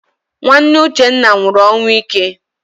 Nwanne Uchenna nwụrụ ọnwụ ike.